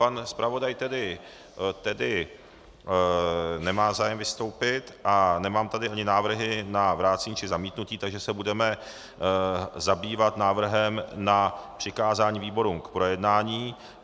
Pan zpravodaj tedy nemá zájem vystoupit a nemám tady ani návrhy na vrácení či zamítnutí, takže se budeme zabývat návrhem na přikázání výborům k projednání.